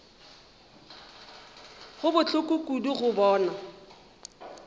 go bohloko kudu go bona